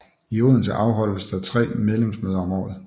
I Odense afholdes der tre medlemsmøder om året